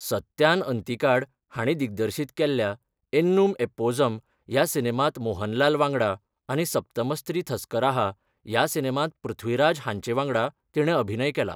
सत्यान अंतिकाड हांणी दिग्दर्शीत केल्ल्या एननुम एप्पोझम ह्या सिनेमांत मोहनलाल वांगडा आनी सप्तमस्री थस्कराहा ह्या सिनेमांत पृथ्वीराज हांचे वांगडा तिणें अभिनय केला.